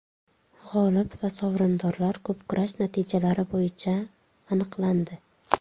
G‘olib va sovrindorlar ko‘pkurash natijalari bo‘yicha aniqlandi.